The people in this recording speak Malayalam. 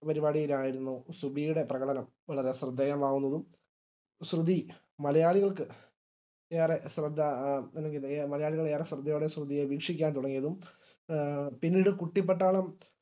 പരിപാടിയിലായിരുന്നു സുബിയുടെ പ്രകടനം വളരെ ശ്രദ്ധേയമാകുന്നതും സുബി മലയാളികൾക്ക് ഏറെ ശ്രദ്ധ നൽകുകയും മലയാളികൾ ഏറെ ശ്രദ്ധയോടെ സുബിയെ വീക്ഷിക്കാൻ തുടങ്ങിയതും എ പിന്നീട് കുട്ടിപ്പട്ടാളം